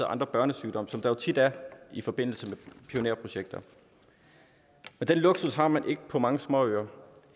andre børnesygdomme som der jo tit er i forbindelse med pionerprojekter den luksus har man ikke på mange småøer